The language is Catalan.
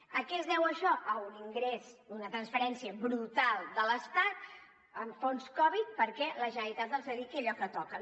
a què es deu això a un ingrés una transferència brutal de l’estat en fons covid perquè la generalitat els dediqui a allò que toqui